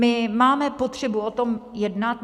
My máme potřebu o tom jednat.